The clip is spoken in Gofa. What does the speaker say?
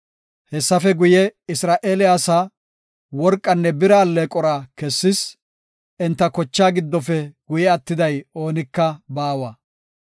Hessafe guye, Isra7eele asaa worqanne bira alleeqora kessis; enta kochaa giddofe guye attiday oonika baawa.